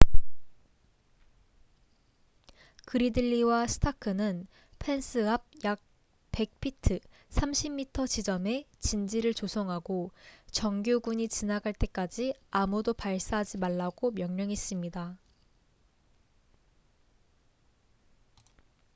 그리들리와 스타크는 펜스 앞 약 100피트30 m 지점에 진지를 조성하고 정규군이 지나갈 때까지 아무도 발사하지 말라고 명령했습니다